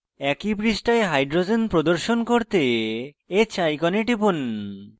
একই পৃষ্ঠায় hydrogens প্রদর্শন করতে h icon টিপুন